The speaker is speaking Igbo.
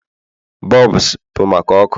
bulbs bụ maka ọkụ